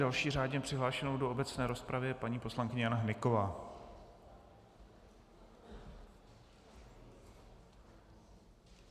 Další řádně přihlášenou do obecné rozpravy je paní poslankyně Jana Hnyková.